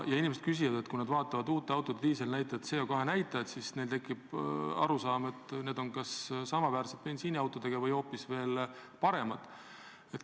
Inimesed küsivad, et kui nad vaatavad uute autode CO2 näitajat, siis neil tekib arusaam, et diiselautod on kas samaväärsed bensiiniautodega või hoopis paremad.